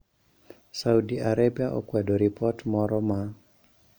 Saudi Arabia okwedo ripot moro ma